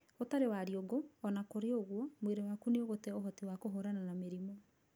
Ũtarĩ wariungũ, ona kũrĩ ũguo, mwĩrĩ waku nĩ ũgũte ũhoti wa kũhũrana na mĩrimũ.